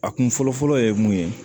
A kun fɔlɔfɔlɔ ye mun ye